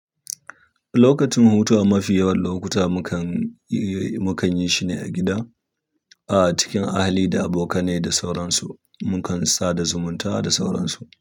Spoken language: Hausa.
Lokacin hutawa mafi yawan lokuta mukan, eh, mukan yi shi ne a gida a cikin ahali da abokanai da sauransu. Mukan sada zumunta da sauransu.